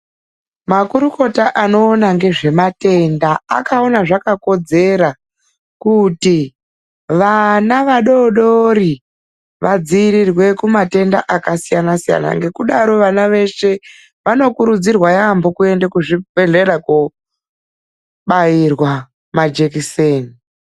Makurukota anoona ngezvematenda akaona zvakakodzera kuti vana vadodori vadziirirwe kumatenda akasiyanasiyana ngekudaro vana veshe vanokurudzirwa yaamho kuende kuzvibhehlera kobairwa majekiseni.